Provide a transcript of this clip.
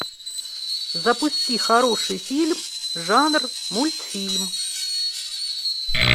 запусти хороший фильм жанр мультфильм